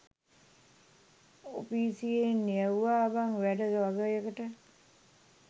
ඔපිසියෙන් යැව්වා බන් වැඩ වගයකට